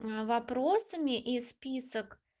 вопросами и список